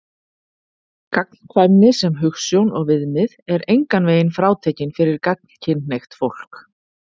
Gagnkvæmni sem hugsjón og viðmið er engan veginn frátekin fyrir gagnkynhneigt fólk.